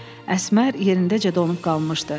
Əsmər yerindəcə donub qalmışdı.